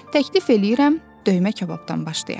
Təklif eləyirəm, döymə kababdan başlayaq.